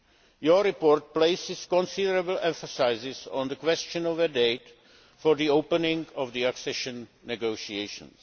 Your report places considerable emphasis on the question of a date for the opening of accession negotiations.